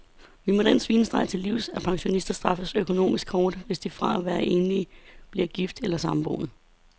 Vi må den svinestreg til livs, at pensionister straffes økonomisk hårdt, hvis de fra at være enlig bliver gift eller samboende.